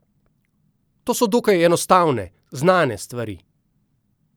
To so dokaj enostavne, znane stvari.